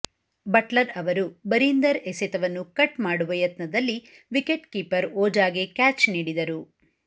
Buttler ಅವರು ಬರೀಂದರ್ ಎಸೆತವನ್ನು cut ಮಾಡುವ ಯತ್ನದಲ್ಲಿ ವಿಕೆಟ್ಕೀಪರ್ ಓಜಾಗೆ ಕ್ಯಾಚ್ ನೀಡಿದರು